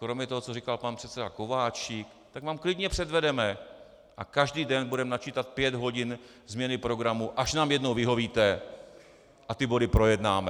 Kromě toho, co říkal pan předseda Kováčik, tak vám klidně předvedeme a každý den budeme načítat pět hodin změny programu, až nám jednou vyhovíte a ty body projednáme.